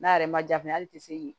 N'a yɛrɛ ma ja fɛnɛ ali te se k'i